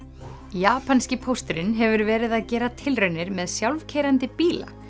japanski pósturinn hefur verið að gera tilraunir með sjálfkeyrandi bíla